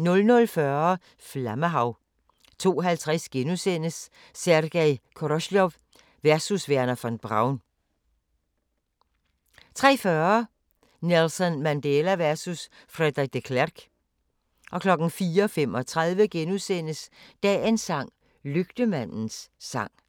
00:40: Flammehav 02:50: Sergej Koroljov versus Wernher von Braun * 03:40: Nelson Mandela versus Frederik de Klerk 04:35: Dagens sang: Lygtemandens sang *